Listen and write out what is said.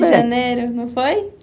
de janeiro, não foi?